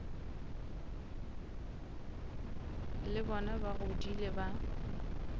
le bona ba godile ba